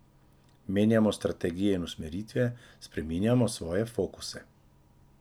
Menjamo strategije in usmeritve, spreminjamo svoje fokuse.